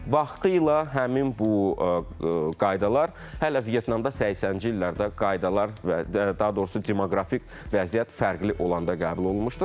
Vaxtilə həmin bu qaydalar hələ Vyetnamda 80-ci illərdə qaydalar və daha doğrusu demoqrafik vəziyyət fərqli olanda qəbul olunmuşdur.